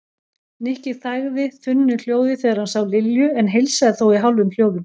Nikki þagði þunnu hljóði þegar hann sá Lilju en heilsaði þó í hálfum hljóðum.